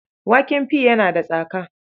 Waken pi yana da tsaka.